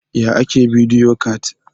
Yaya ake bidiyo cat?